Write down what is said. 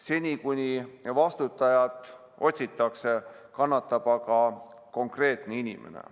Seni, kuni vastutajat otsitakse, kannatab aga konkreetne inimene.